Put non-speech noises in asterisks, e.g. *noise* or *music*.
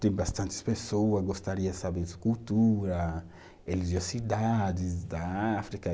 Tem bastantes pessoa, gostaria de saber *unintelligible* cultura, religiosidades da África.